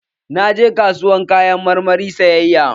Naje kasuwar Kayan marmari sayayya.